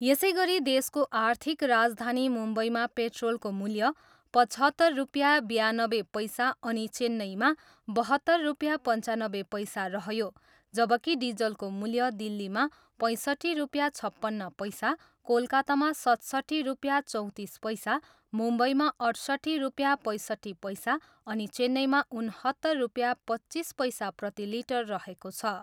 यसैगरी देशको आर्थिक राजधानी मुम्बईमा पेट्रोलको मूल्य पचहत्तर रुपियाँ बयानब्बे पैसा अनि चेन्नईमा बहत्तर रुपियाँ पन्चानब्बे पैसा रह्यो जबकि डिजलको मूल्य दिल्लीमा पैँसट्ठी रूपियाँ छप्पन्न पैसा, कोलकातामा सतसट्ठी रुपियाँ चौँतिस पैसा, मुम्बईमा अठ्सट्ठी रुपियाँ पैँसट्ठी पैसा अनि चेन्नईमा उनहत्तर रुपियाँ पच्चिस पैसा प्रतिलिटर रहेको छ।